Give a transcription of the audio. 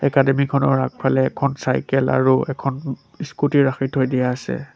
Academy খনৰ আগফালে এখন চাইকেল আৰু এখন স্কুটি ৰাখি থৈ দিয়া আছে।